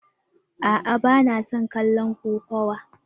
A'a ba na son kallon kokawa.